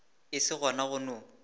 e se gona go no